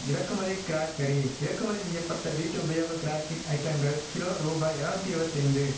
இறக்குமதி கிராக் கரி இறக்குமதி செய்ய பட்ட வீட்டு உபயோக கிராக்கிக் அயிட்டங்கள் கிலோ ரூபாய் எரநூத்தி இருவத்தைந்து